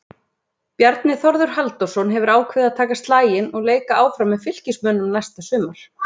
Bjarni Þórður Halldórsson hefur ákveðið að taka slaginn og leika áfram með Fylkismönnum næsta sumar.